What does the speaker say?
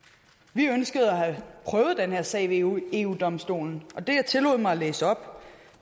vi ønskede at prøve den her sag ved eu eu domstolen og det jeg tillod mig at læse op